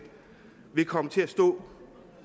vil komme til at stå